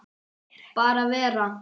Bara vera.